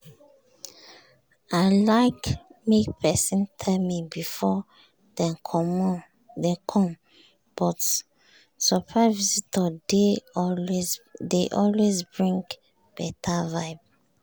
i like make pesin tell me before dem com but surprise visitor dey always bring beta vibe.